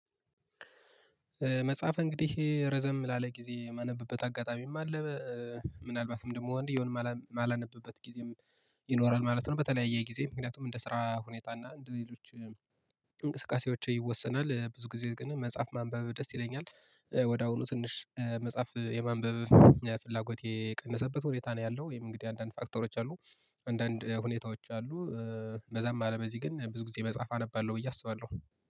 መጽሐፍ እንግዲህ ረዘም ላለ ጊዜ የማነብበት አጋጣሚም አለ። ምናልባትም ደግሞ አንድያውን የማላነብበት ጊዜም ይኖራል ማለት ነው። በተለያየ ጊዜ ምክንያቱም እንደ ስራ ሁኔታ እና እንደ ሌሎች እንቅስቃሴዎች ይወሰናል። ብዙ ጊዜ ግን መጽሐፍ ማንበብ ደስ ይለኛል ወደ አሁኑ ትንሽ መጽሐፍ የማንበብ ፍላጎቴ የቀነሰበት ሁኔታ ነው ያለው። ይህም እንግዲህ አንዳንድ ፋክተሮች አሉ። አንዳንድ ሁኔታዎች አሉ። በዛም አለ በዚህ ግን ብዙ ጊዜ መጽሐፍ አነባለሁ ብዬ አስባለሁ